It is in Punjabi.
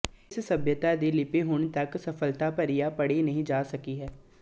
ਇਸ ਸਭਿਅਤਾ ਦੀ ਲਿਪੀ ਹੁਣ ਤੱਕ ਸਫਲਤਾ ਭਰਿਆ ਪੜ੍ਹੀ ਨਹੀਂ ਜਾ ਸਕੀ ਹੈ